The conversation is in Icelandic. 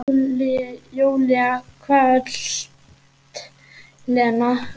Júlía hvellt: Lena!